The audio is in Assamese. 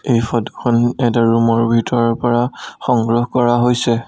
এই ফটোখন এটা ৰুমৰ ভিতৰৰ পৰা সংগ্ৰহ কৰা হৈছে।